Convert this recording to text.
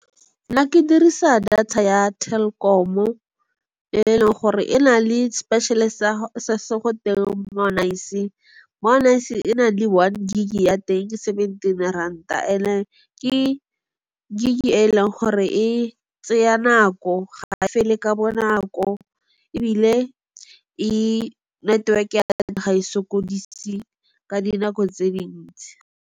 Nna ke dirisa data ya Telkom-o e leng gore e na le special-e se se go teng Mo'Nice. Mo'Nice e na le one gig-e ya teng ke seventeen ranta and-e ke gig-e e leng gore e tsaya nako ga e fele ka bonako ebile network-e ga e sokodise ka dinako tse dintsi.